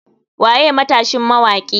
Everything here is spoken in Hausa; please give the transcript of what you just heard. Waye matashin mawaki?